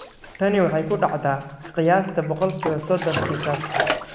Tani waxay ku dhacdaa qiyaastii boqolkibo sodon kiisaska.